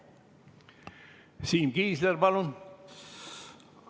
Siim Kiisler, palun!